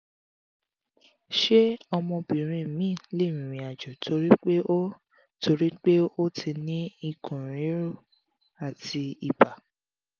ṣé ọmọbìnrin mi lè rìnrìn àjò torí pé o torí pé o ti ni ikun riru ati iba?